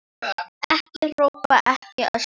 Ekki hrópa, ekki öskra!